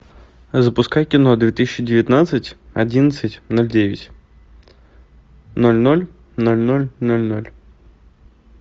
запускай кино две тысячи девятнадцать одиннадцать ноль девять ноль ноль ноль ноль ноль ноль